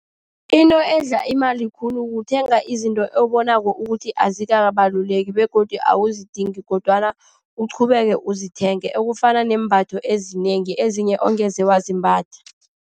Into edla imali khulu kuthenga izinto obonako ukuthi azikabaluleki begodu awuzidingi kodwana uqhubekele uzithengele. Okufana neembatho ezinengi, ezinye ongeze wazimbatha.